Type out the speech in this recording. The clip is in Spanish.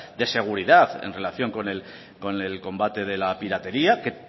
de seguridad en relación con el combate de la piratería que